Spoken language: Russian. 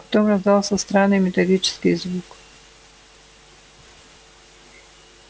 потом раздался странный металлический звук